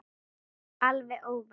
Alveg óvænt!